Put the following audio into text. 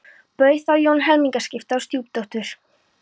Bauð þá Jón helmingaskipti á stjúpdóttur